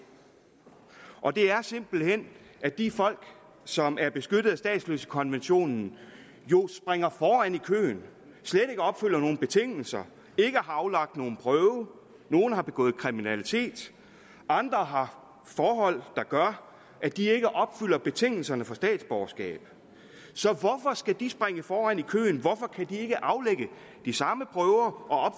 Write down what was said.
og det er simpelt hen at de folk som er beskyttet af statsløsekonventionen jo springer foran i køen og nogen betingelser ikke har aflagt nogen prøve nogle har begået kriminalitet andre har forhold der gør at de ikke opfylder betingelserne for statsborgerskab så hvorfor skal de springe foran i køen hvorfor kan de ikke aflægge de samme prøver og